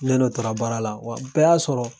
Ne n'o taara baara la wa o bɛɛ y'a sɔrɔ